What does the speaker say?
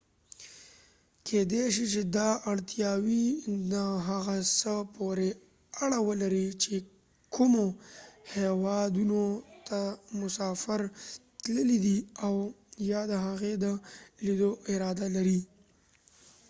کيدې شي چې دا اړتیاوې د هغه څه پورې اړه ولري چې کومو هیوادونو ته مسافر تللی دی او یا د هغې د لیدو اراده لري